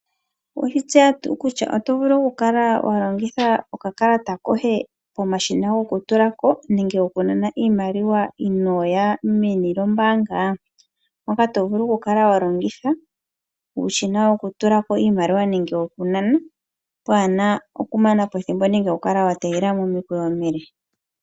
Owe shi tseya tuu kutya oto vulu walongitha oka kalata koye komashina gokutulako nenge gokunana iimaliwa inooya meni lyombaanga? Moka to vulu oku kala walongitha uushina wokutulako iimaliwa nenge wokunana waana oku mana po ethimbo nenge oku kala wategelela momikweyo omile.